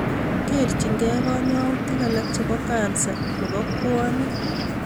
Kerchikei konyoutik alak chebo kansa nebo bwonik